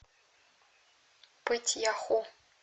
пыть яху